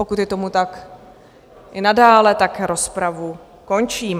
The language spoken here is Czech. Pokud je tomu tak i nadále, tak rozpravu končím.